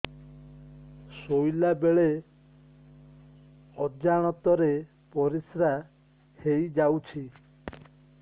ଶୋଇଲା ବେଳେ ଅଜାଣତ ରେ ପରିସ୍ରା ହେଇଯାଉଛି